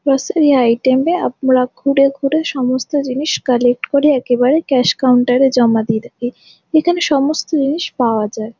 Grocery item এ আপনারা ঘুরে ঘুরে সমস্ত জিনিস কালেক্ট করে একেবারে ক্যাশ কাউন্টার এ জমা দিয়ে দেবেন এখানে সমস্ত জিনিস পাওয়া যায় ।